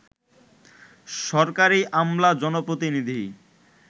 সরকারি আমলা, জনপ্রতিনিধি